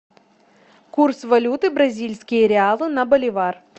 курс валюты бразильские реалы на боливар